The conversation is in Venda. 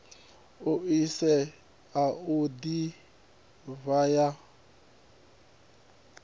ḽaisentsi ya u ḓiraiva ya